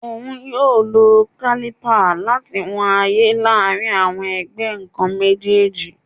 Oun yoo lo caliper lati wọn aaye laarin awọn ẹgbẹ nkan mejeeji